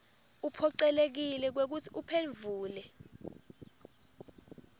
uphocelekile kwekutsi uphendvule